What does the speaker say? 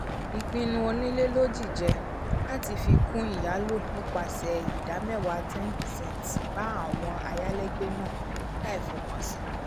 ìpinnu onílé lojije lati fi kun iyalo nípasẹ ida mewa ten percent bá àwọn ayalégbe náà láì f'ọkan sí